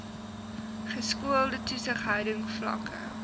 geskoolde toesighouding vlakke